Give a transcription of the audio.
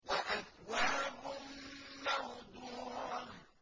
وَأَكْوَابٌ مَّوْضُوعَةٌ